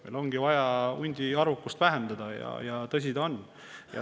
Meil on vaja huntide arvukust vähendada, tõsi ta on.